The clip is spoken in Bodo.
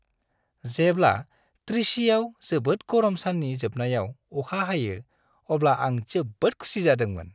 जेब्ला त्रिचिआव जोबोद गरम साननि जोबनायाव अखा हायो अब्ला आं जोबोद खुसि जादोंमोन।